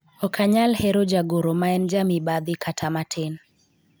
ok anyal hero jagoro ma en jamibadhi kata matin